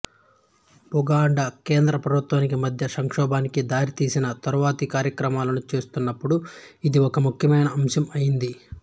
బుగండా కేంద్ర ప్రభుత్వానికి మధ్య సంక్షోభానికి దారితీసిన తరువాతి కార్యక్రమాలను చూస్తున్నప్పుడు ఇది ఒక ముఖ్యమైన అంశం అయింది